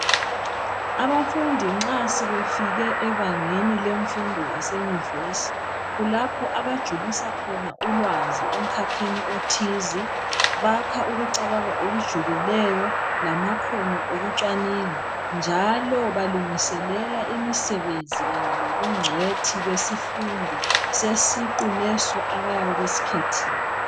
Abafundi nxa sebefike ebangeni lemfundo yasenyuvesi kulapho abajulisa khona ulwazi emkhakheni othize. Bakha ukucabanga okujulileyo lamakhono okucwaninga njalo balungiselela imisebenzi kanye lobungcwethi besifundo sesiqu leso abayabe besikhethethile.